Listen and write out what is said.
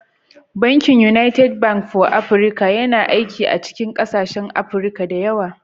Bankin United Bank for Africa (UBA) yana aiki a cikin ƙasashen Afirka da yawa.